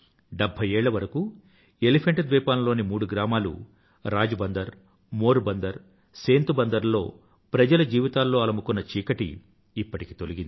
డెభ్భై ఏళ్ల వరకు ఎలిఫెంటా ద్వీపంలోని మూడు గ్రామాలు రాజ్ బందర్ మోర్ బందర్ సేంత్ బందర్ లలో ప్రజల జీవితాల్లో అలుముకున్న చీకటి ఇప్పటికి తొలగింది